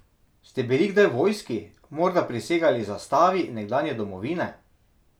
Ste bili kdaj v vojski, morda prisegali zastavi nekdanje domovine?